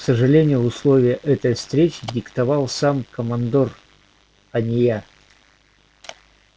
к сожалению условия этой встречи диктовал сам командор а не я